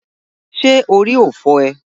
Ṣé orí ò fọ́ ee?